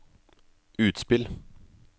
utspill